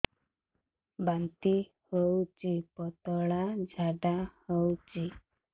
ବାନ୍ତି ହଉଚି ପତଳା ଝାଡା ହଉଚି